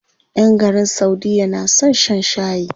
ƴan garin saudiya na son shan shayi.